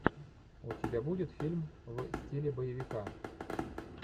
у тебя будет фильм в стиле боевика